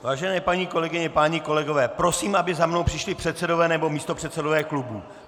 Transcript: Vážené paní kolegyně, páni kolegové, prosím, aby za mnou přišli předsedové nebo místopředsedové klubů!